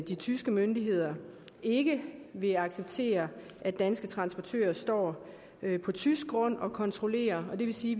de tyske myndigheder ikke vil acceptere at danske transportører står på tysk grund og kontrollerer og det vil sige